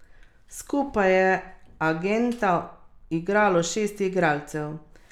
Skupaj je agenta igralo šest igralcev.